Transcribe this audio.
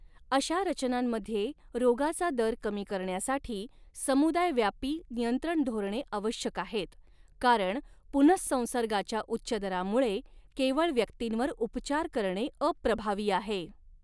अशा रचनांमध्ये, रोगाचा दर कमी करण्यासाठी समुदाय व्यापी नियंत्रण धोरणे आवश्यक आहेत, कारण पुनहसंसर्गाच्या उच्च दरामुळे केवळ व्यक्तींवर उपचार करणे अप्रभावी आहे.